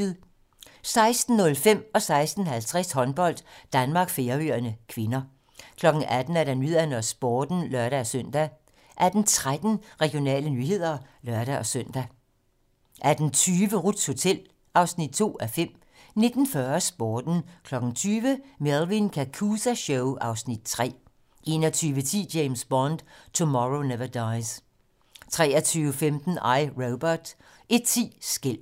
16:05: Håndbold: Danmark-Færøerne (k) 16:50: Håndbold: Danmark-Færøerne (k) 18:00: 18 Nyhederne og Sporten (lør-søn) 18:13: Regionale nyheder (lør-søn) 18:20: Ruths hotel (2:5) 19:40: Sporten 20:00: Melvin Kakooza Show (Afs. 3) 21:10: James Bond: Tomorrow Never Dies 23:15: I, Robot 01:10: Skælvet